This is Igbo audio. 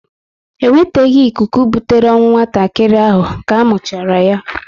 E nweteghi ikuku butere ọnwụ nwatakịrị ahụ ka muchara yá